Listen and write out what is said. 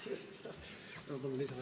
Palun kohe lisaaega ka!